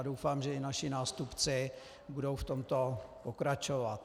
A doufám, že i naši nástupci budou v tomto pokračovat.